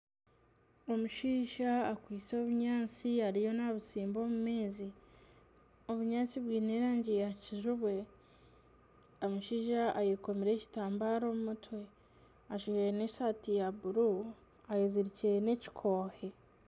Omushaija akwaitse obunyaatsi ariyo nabutsimba omu maizi obunyaatsi bwine erangi ya kijubwe, omushaija ayekomire ekitambare omu mutwe ajwaire n'esaati ya buru ayezirikire n'ekikoohe.